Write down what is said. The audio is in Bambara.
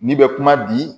N'i bɛ kuma di